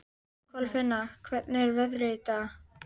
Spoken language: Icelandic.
Kolfinna, hvernig er veðrið í dag?